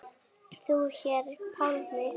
Þú hér, Pálmi.